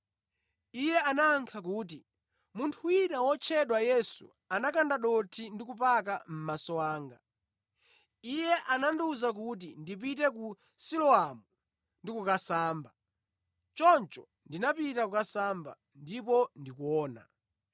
Iye anayankha kuti, “Munthu wina wotchedwa Yesu anakanda dothi ndi kupaka mʼmaso anga. Iye anandiwuza kuti ndipite ku Siloamu ndi kukasamba. Choncho ndinapita kukasamba, ndipo ndikuona.”